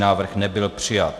Návrh nebyl přijat.